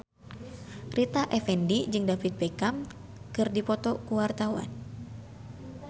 Rita Effendy jeung David Beckham keur dipoto ku wartawan